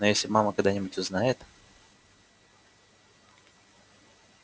но если мама когда-нибудь узнает